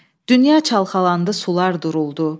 Dünya çalxalandı, sular duruldu.